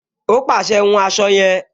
Ó pàṣẹ, "hun aṣọ yẹn"